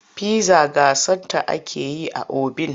Pizza gasa ta ake yi a obin.